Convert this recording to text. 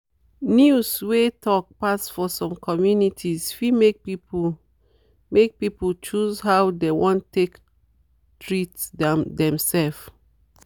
news wey talk pass for some communities fit make people make people choose how dem wan take treat demself.